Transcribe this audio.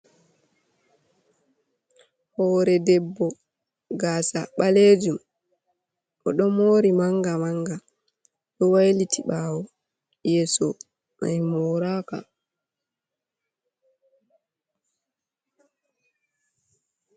Hore ɗebbo gasa balejum. Oɗo mori manga manga ɗo wailiti bawo. yeeso mai moraka.